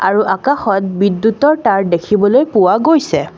আৰু আকাশত বিদ্যুতৰ তাঁৰ দেখিবলৈ পোৱা গৈছে।